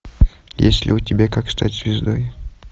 есть ли у тебя как стать звездой